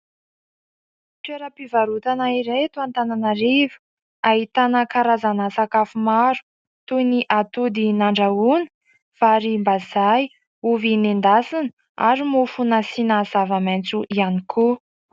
Toeram-pivarotana iray eto Antananarivo. Ahitana karazana sakafo maro toy ny atody nandrahona, varim-bazay, ovy noendasina ary mofo nasiana zava-maintso ihany koa.